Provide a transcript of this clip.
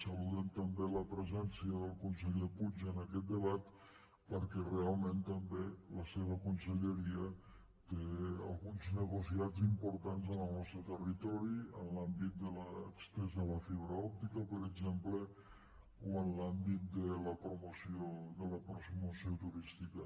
saludem també la presència del conseller puig en aquest debat perquè realment també la seva conselleria té alguns negociats importants en el nostre territori en l’àmbit de l’estesa de la fibra òptica per exemple o en l’àmbit de la promoció turística